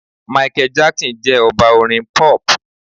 Michael Jackson jẹ́ Ọba orin Pop.